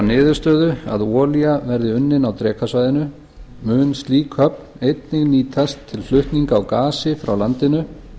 niðurstöðu að olía verði unnin á drekasvæðinu mun slík höfn einnig nýtast til flutninga á gasi frá landinu